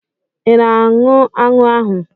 Ị na-aṅụ anụ ahụ?